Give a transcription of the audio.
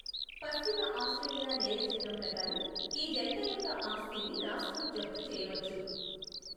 పశ్చిమ ఆస్ట్రేలియా నేర చట్టం ప్రకారం, ఈ జంట యొక్క ఆస్తిని రాష్ట్రం జప్తు చేయవచ్చు.